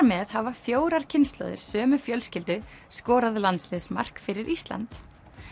með hafa fjórar kynslóðir sömu fjölskyldu skorað fyrir Ísland